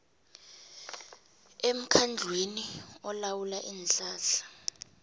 emkhandlwini olawula iinhlahla